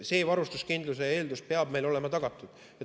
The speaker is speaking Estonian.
See varustuskindluse eeldus peab meil olema tagatud.